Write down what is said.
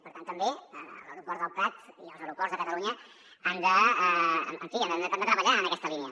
per tant també l’aeroport del prat i els aero·ports de catalunya han de treballar en aquesta línia